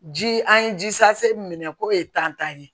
Ji an ye ji sase minɛ k'o ye tan ye